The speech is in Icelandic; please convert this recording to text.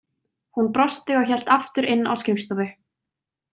Hún brosti og hélt aftur inn á skrifstofu.